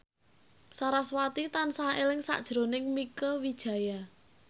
sarasvati tansah eling sakjroning Mieke Wijaya